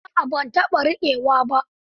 A'a ban taɓa rikewa ba.